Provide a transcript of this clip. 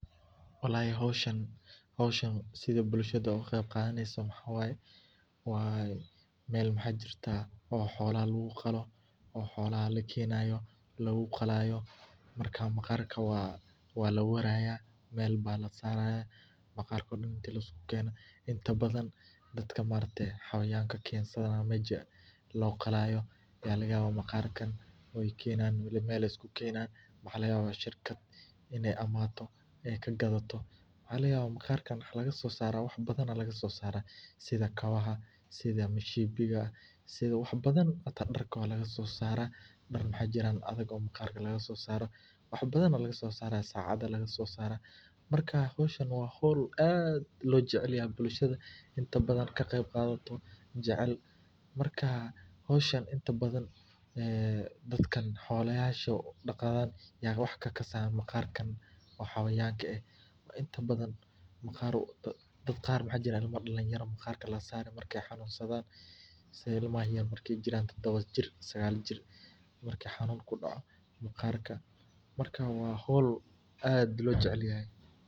Walahi howshan meel waxaa jirta xoalaha lagu qalo, maqarka waa laweraya meel ayaa kasaaraya, waxaa laga yaaba shirkad inaay imaato oo aay iibsato, darka ayaa laga soo saara, waa howl aad loo jecel yahay, dadka xolaha daqda ayaa wax kakasaayo, ilmaha yar markaay xanuun sadaan waa la saraa.